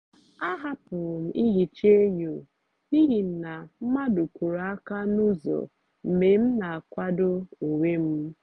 ahapụrụ m ihicha enyo n’ihi na mmadụ kuru aka n'ụzọ mgbe m na-akwado onwe m.